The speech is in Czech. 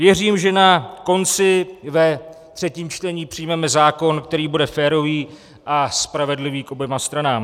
Věřím, že na konci ve třetím čtení přijmeme zákon, který bude férový a spravedlivý k oběma stranám.